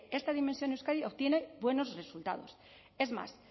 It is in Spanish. esta dimensión euskadi obtiene buenos resultados es más